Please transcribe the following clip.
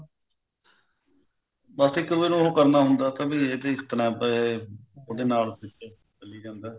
ਬੱਸ ਇੱਕ ਦੂਏ ਨੂੰ ਉਹ ਕਰਨਾ ਹੁੰਦਾ ਵੀ ਇਹ ਤੀ ਉਹਦੇ ਨਾਲ ਚੱਲੀ ਜਾਂਦਾ